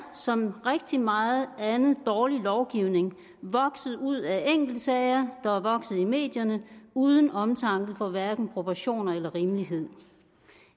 som rigtig meget andet dårlig lovgivning vokset ud af enkeltsager der er vokset i medierne uden omtanke for hverken proportioner eller rimelighed